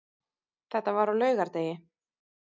Þetta var á laugardegi.